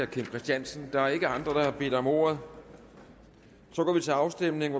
kim christiansen der er ikke andre der har bedt om ordet så går vi til afstemning